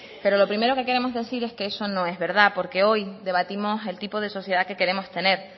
pero lo primero que queremos decir es que eso no es verdad porque hoy debatimos el tipo de sociedad que queremos tener